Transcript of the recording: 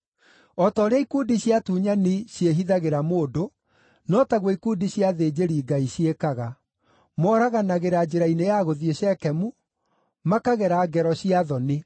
O ta ũrĩa ikundi cia atunyani ciĩhithagĩra mũndũ, no taguo ikundi cia athĩnjĩri-Ngai ciĩkaga; moraganagĩra njĩra-inĩ ya gũthiĩ Shekemu, makagera ngero cia thoni.